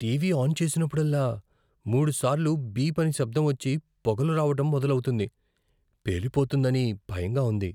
TV on చేసినప్పుడల్లా, మూడుసార్లు beep అని శబ్దం వచ్చి, పొగలు రావడం మొదలవుతుంది. పేలిపోతుందనని భయంగా ఉంది.